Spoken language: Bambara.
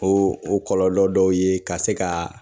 O o kɔlɔlɔ dɔw ye ka se ka